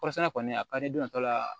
Kɔɔrisɛnɛna kɔni a ka di don tɔ la